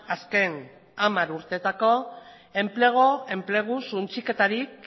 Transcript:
azken hamar urteetako enplegu suntsiketarik